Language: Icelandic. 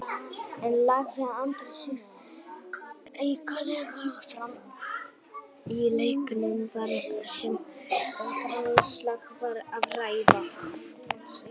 En lagði Andri sig aukalega fram í leiknum þar sem um grannaslag var að ræða?